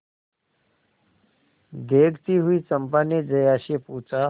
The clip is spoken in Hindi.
देखती हुई चंपा ने जया से पूछा